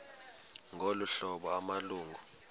ngolu hlobo amalungu